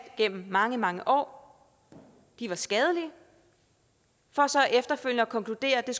gennem mange mange år var skadelige for så efterfølgende at konkludere at det